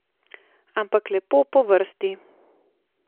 Ampak lepo po vrsti.